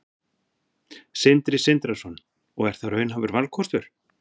Sindri Sindrason: Og er það raunhæfur valkostur?